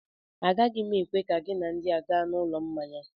Agaghị m ekwe ka gị na ndị a gaa n'ụlọ mmanya